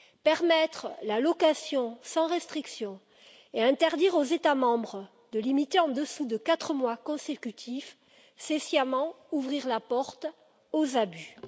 Permettre la location sans restriction et interdire aux États membres de la limiter en dessous de quatre mois consécutifs, c'est sciemment ouvrir la porte aux abus.